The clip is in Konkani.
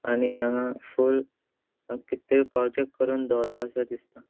आणि हांगा फूल हांगा कीद तरी प्रोजेक्ट करून दोवरला अशे दिसता.